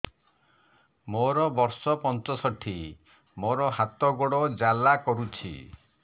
ମୋର ବର୍ଷ ପଞ୍ଚଷଠି ମୋର ହାତ ଗୋଡ଼ ଜାଲା କରୁଛି